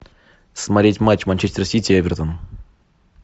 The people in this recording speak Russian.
смотреть матч манчестер сити эвертон